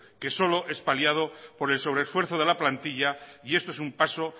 que solo es paliado por el sobre esfuerzo de la plantilla y esto es un paso